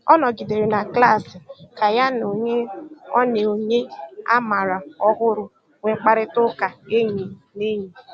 Ọ nọ̀gìdèrè na klas kà ya na ònyè ọ na ònyè ọ mààra ọ̀hụrụ́ nwéé mkpáịrịtà ụ́ka ényì na ényì.